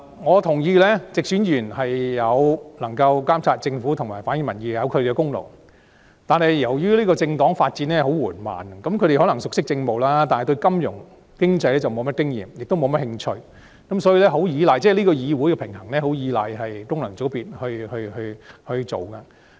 我認同直選議員在監察政府及反映民意方面有其功勞，但由於政黨發展緩慢，他們可能熟悉政務，但對金融經濟則毫無經驗，亦缺乏興趣，所以議會的平衡相當依賴功能界別的參與。